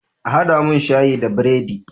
A haɗa mun shayi da biredi!